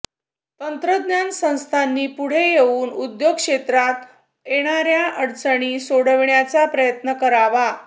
तंत्रज्ञान संस्थांनी पुढे येऊन उद्योग क्षेत्रात येणाऱया अडचणी सोडविण्याचा प्रयत्न करावा